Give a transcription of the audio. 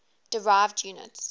derived units